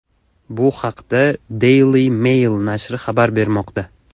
Bu haqda Daily Mail nashri xabar bermoqda .